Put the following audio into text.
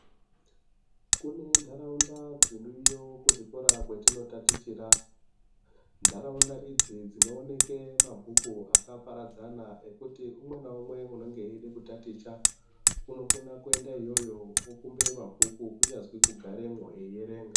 Kune nharaunda dziriyo kuchikora kwatinotatichira. Nharaunda idzi dzinooneka mabhuku akaparadzana ekuti umwe naumwe unenge eida kutaticha. Unokona kuenda iyoyo okumbira mabhuku kunyazi kugaramwo eierenga.